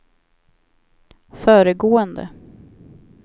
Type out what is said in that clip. föregående